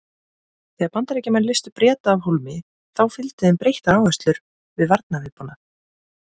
Þegar Bandaríkjamenn leystu Breta af hólmi þá fylgdu þeim breyttar áherslur við varnarviðbúnað.